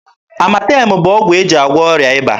Amatem bụ ọgwụ e ji agwọ ọrịa ịba.